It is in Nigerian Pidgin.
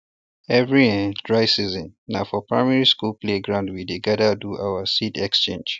every um dry season na for primary um school playground we dey gather do our seed exchange